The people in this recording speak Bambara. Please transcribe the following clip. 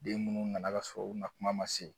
Den munnu nana ka sɔrɔ u na kuma ma se